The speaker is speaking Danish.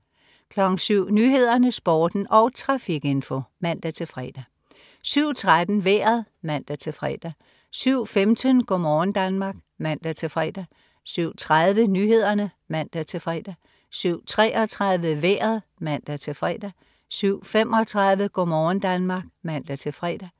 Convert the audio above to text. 07.00 Nyhederne, Sporten og trafikinfo (man-fre) 07.13 Vejret (man-fre) 07.15 Go' morgen Danmark (man-fre) 07.30 Nyhederne (man-fre) 07.33 Vejret (man-fre) 07.35 Go' morgen Danmark (man-fre)